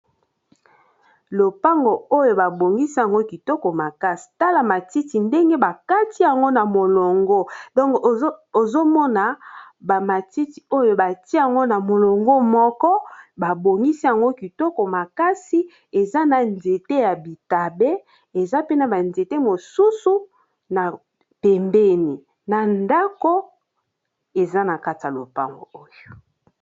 Lopango oyo babongisi yango kitoko makasi tala matiti ndenge bakati yango na molongo donk ozomona ba matiti oyo batia yango na molongo moko babongisi yango kitoko makasi eza na nzete ya bitabe eza pe na ba nzete mosusu na pembeni na ndako eza na kati ya lopango oyo.